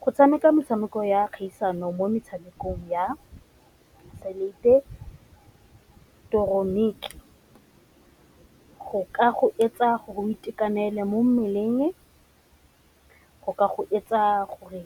Go tshameka metshameko ya kgaisano mo metshamekong ya se ileketeroniki go etsa gore itekanele mo mmeleng, go ka go etsa gore